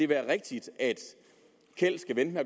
være rigtigt at kjeld skal vente